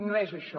no és això